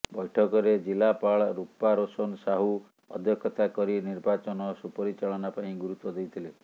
ବୈଠକରେ ଜିଲ୍ଲାପାଳ ରୂପାରୋଶନ ସାହୁ ଅଧ୍ୟକ୍ଷତା କରି ନିର୍ବାଚନ ସୁପରିଚାଳନା ପାଇଁ ଗୁରୁତ୍ୱ ଦେଇଥିଲେ